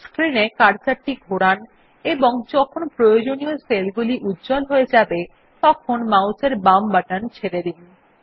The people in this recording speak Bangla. স্ক্রিন এ কার্সর টি ঘরান এবং যখন প্রয়োজনীয় সেলগুলি উজ্জ্বল হয়ে যাবে মাউস এর বাম বাটন ছেড়ে দিন